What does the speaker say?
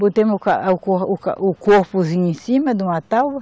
Botei o ca, o cor, o ca, o corpozinho em cima de uma tábua.